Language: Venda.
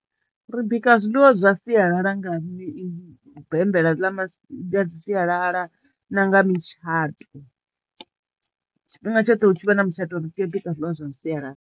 Ri bika zwiḽiwa zwa sialala nga ḽa masi, ḽa sialala na nga mutshato tshifhinga tshoṱhe hu tshi vha na mutshato ri tea u bika zwiḽiwa zwa sialala.